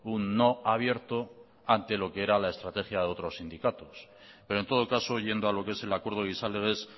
un no abierto ante lo que era la estrategia de otros sindicatos pero en todo caso yendo a lo que es el acuerdo gizalegez